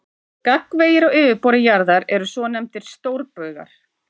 Gagnvegir á yfirborði jarðar eru svonefndir stórbaugar.